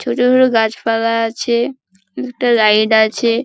ছোট বড় গাছপালা আছে। দুটো রাইড আছে।